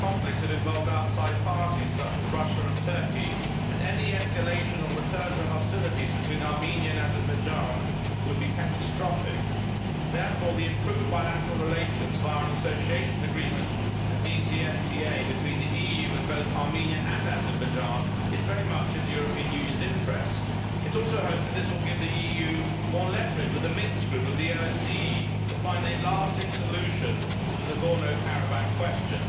These conflicts have involved outside parties such as Russia and Turkey, and any escalation or return to hostilities between Armenia and Azerbaijan would be catastrophic. Therefore, improved bilateral relations, via an association agreement and a DCFTA between the EU and both Armenia and Azerbaijan, are much in the European Union's interests. It is also to be hoped that this will give the EU more leverage with the Minsk group of the OSCE to find a lasting solution to the Nagorno Karabakh question.